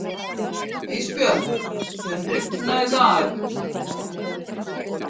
Ísbjörn, mun rigna í dag?